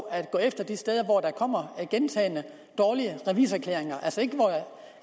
at gå efter de steder hvor der kommer gentagne dårlige revisorerklæringer